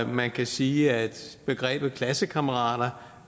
man kan sige at begrebet klassekammerater